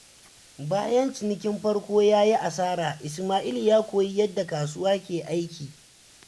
Bayan cinikin farko ya yi asara, Isma’il ya koyi yadda kasuwa ke aiki.